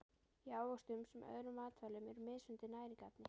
Í ávöxtum sem öðrum matvælum eru mismunandi næringarefni.